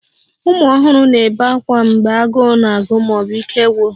Ụmụ ọhụrụ ga-ebe ákwá mgbe agụụ na-agụ ma ọ bụ ike gwụrụ